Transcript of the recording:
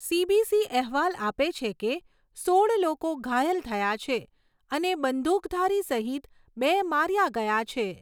CBC અહેવાલ આપે છે કે સોળ લોકો ઘાયલ થયા છે, અને બંદૂકધારી સહિત બે માર્યા ગયા છે.